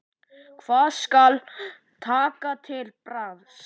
Hvað skal taka til bragðs?